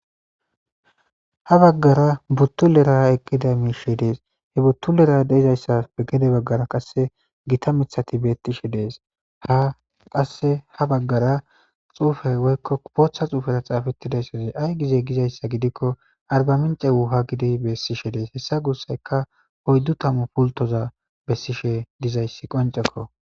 ha baggara buttulera ekkida miishe dees he buttulera deizayssas pe gede baggara qasse gita mithati beettishe dees ha qaeha baggara xuufay woykko kupootha xuufera xaafettidaysaza ay gizey gizayssa gidikko arbamince wuuha gidi beessishe dees hessa guussayka hoyddu tamu pultoza bessishe dizayssi qoncekko.